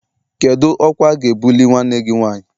Kedu ọkwa a ga-ebuli nwanne gị nwanyị?